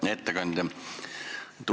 Hea ettekandja!